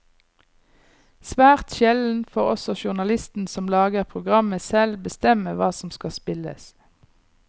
Svært sjelden får også journalisten som lager programmet selv bestemme hva som skal spilles.